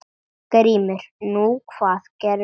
GRÍMUR: Nú, hvað gerðu þeir?